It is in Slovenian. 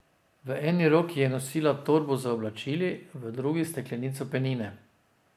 V eni roki je nosila torbo z oblačili, v drugi steklenico penine.